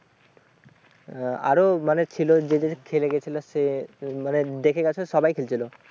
আহ আরো মানে ছিল যে খেলে গেছিল সে আহ মানে দেখে গেছো সবাই খেলছিল ।